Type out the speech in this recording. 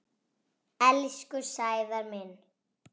Elsku Sævar minn.